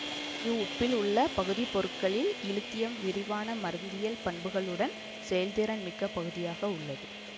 இவ்வுப்பில் உள்ள பகுதிப்பொருள்களில் இலித்தியம் விரிவான மருந்தியல் பண்புகளுடன் செயல்திறன் மிக்க பகுதியாக உள்ளது